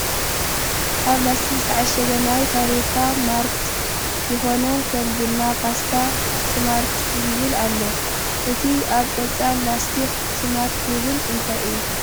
ኣብ ላሰቲክ ዝተዓሸገ ናይ ፋብሪካ ምርት ዝኮነ ከም ቡና ፣ ፓስታ ፣ ስማርት ዝብል ኣሎ ። እቲ ኣብ ቆፃል ላስቲክ ስማርትዝብል እንታይ እዩ ?